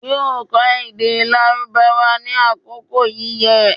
yóò kọ́ èdè Lárúbáwá ní àkókò yíyẹ